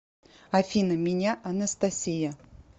афина меня анастасия